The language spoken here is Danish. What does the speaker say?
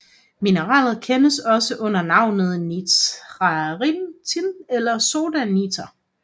Mineralet kendes også under navnet nitratin eller soda niter